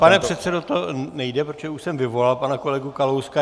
Pane předsedo, to nejde, protože už jsem vyvolal pana kolegu Kalouska.